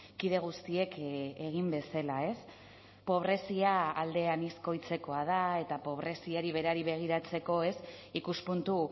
kide guztiek egin bezala ez pobrezia alde anizkoitzekoa da eta pobreziari berari begiratzeko ez ikuspuntu